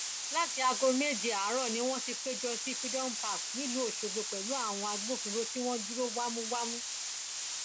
láti aago méje àárọ ni wọn ti péjọ sí freedom park nílùú ọṣọgbó pẹlú àwọn agbófinró tí wọn dúró wámúwámú